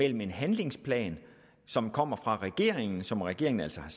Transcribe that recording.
en handlingsplan som kommer fra regeringen som regeringen altså har